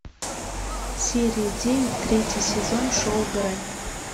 серия девять третий сезон шоу грань